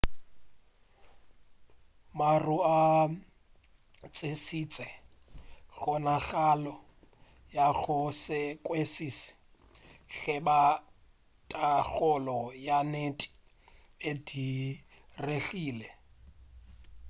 maru a tlišitše kgonagalo ya go se kwešiši ge e ba thakgolo ya nnete e diregile